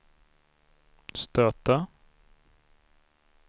stöta